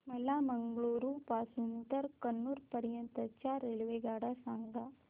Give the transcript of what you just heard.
मला मंगळुरू पासून तर कन्नूर पर्यंतच्या रेल्वेगाड्या सांगा